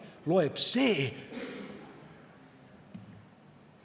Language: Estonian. Loeb see ...